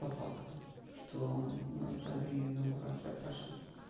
по факту что эта инаугурация прошла